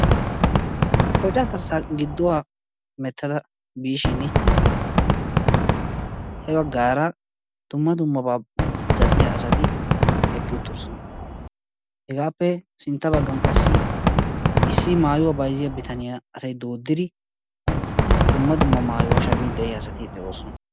Qoca garssaa gidduwaa hemettada biishin ya baggaara dumma dummabaa zal"iyaa asati eqqi uttidoosona. Hegaappe sintta baggan qassi issi maayuwaa bayzziyaa bitaniyaa asay dooddidi dumma dumma maayuwaa shammiiddi de'iyaa asati de"oosona.